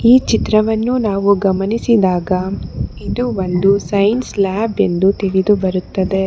ಆ ಚಿತ್ರವನ್ನು ನಾವು ಗಮನಿಸಿದಾಗ ಇದು ಒಂದು ಸೈನ್ಸ್ ಲ್ಯಾಬ್ ಎಂದು ತಿಳಿದು ಬರುತ್ತದೆ.